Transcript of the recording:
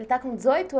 Ele está com dezoito